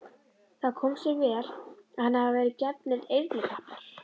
Það komi sér vel að henni hafi verið gefnir eyrnatappar.